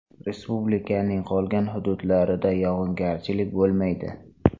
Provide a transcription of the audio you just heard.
Respublikaning qolgan hududlarida yog‘ingarchilik bo‘lmaydi.